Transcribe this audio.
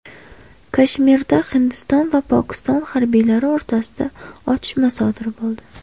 Kashmirda Hindiston va Pokiston harbiylari o‘rtasida otishma sodir bo‘ldi.